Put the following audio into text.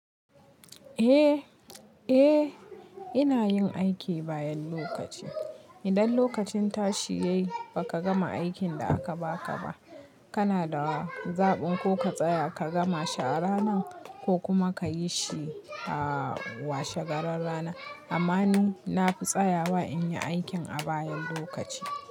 Eh, eh ina yin aiki bayan lokaci. Idan lokacin tashi ya yi ba ka gama aikin da aka ba ka ba, kana da zaɓin ko ka tsaya ka gama shi a ranan, ko kuma ka yi shi a washe garin ranar. Amma ni na fi tsayawa in yi aikin a bayan lokaci.